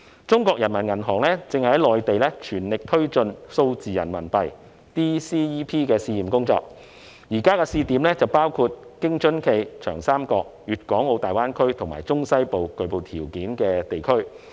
中國人民銀行正在內地全力推進數字人民幣的試驗工作，現在的試點包括京津冀、長三角、大灣區及中西部具備條件的地區。